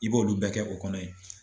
I b'olu bɛɛ kɛ o kɔnɔ ye.